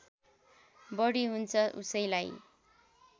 बढी हुन्छ उसैलाई